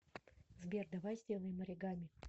сбер давай сделаем оригами